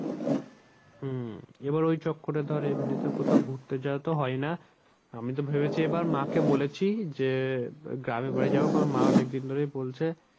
হম এবার ওই চক্করে ধর এমনিতে কোথাও ঘুরতে যাওয়া তো হয় না আমি তো ভেবেছি এবার মা কে বলেছি যে গ্রামের বাড়ি যাবো কারণ মা অনেক দিন ধরেই বলছে।